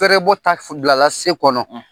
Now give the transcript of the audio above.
Fɛrɛ bɔ ta bilala se kɔnɔ.